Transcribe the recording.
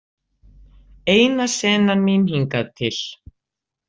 Eina senan mín hingað til.